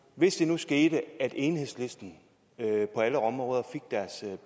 hvis det nu skete at enhedslisten på alle områder fik deres